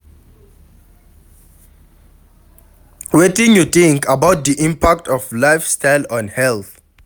Wetin you think about di impact of lifestyle on health?